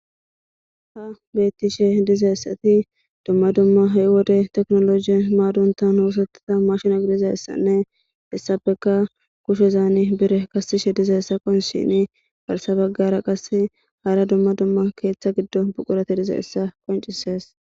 Ha bethishe dizaysatti dumma dumma ha' wode teknoloje maditha osethiza mashine gidizaysane heysapeka kushezani birra kesishe dizaysane garsan bagara qasse hara dumma dumma ketha gidon buqurathi dizaysa qoncisess.